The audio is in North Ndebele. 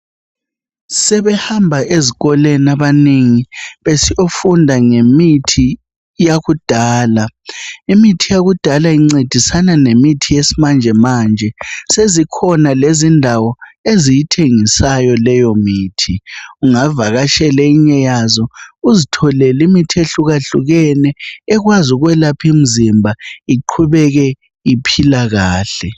Sebehamba ezikolweni abaningi besiyofunda ngemithi yakudala imithi yakudala incedisana lemithi yesimanje manje sezikhona lezindawo eziyithengisayo leyo mithi ungavakatshela enye yazo uzitholele imithi ehlukahlukene ekwazi ukwelapha imizimba iqhubeke iphilakahle